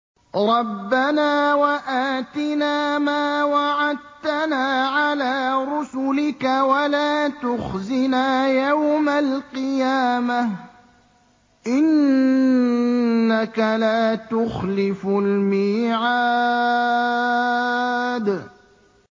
رَبَّنَا وَآتِنَا مَا وَعَدتَّنَا عَلَىٰ رُسُلِكَ وَلَا تُخْزِنَا يَوْمَ الْقِيَامَةِ ۗ إِنَّكَ لَا تُخْلِفُ الْمِيعَادَ